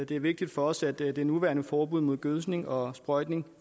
det er vigtigt for os at det nuværende forbud mod gødskning og sprøjtning